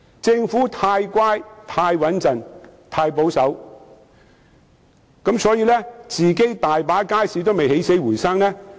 政府太乖、太穩重和太保守，大部分其管理的街市仍未起死回生。